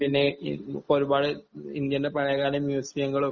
പിന്നെ ഇ ഒരുപാട് ഇന്ത്യയുടെ പഴയകാല മ്യൂസിയങ്ങളും